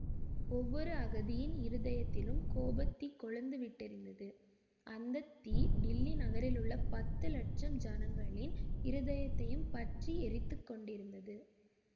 ஒவ்வொரு அகதியின் இருதயத்திலும் கோபத் தீ கொழுந்து விட்டெரிந்தது அந்த தீ டில்லி நகரிலுள்ள பத்து லட்சம் ஜனங்களின் இருதயத்தையும் பற்றி எரித்து கொண்டிருந்தது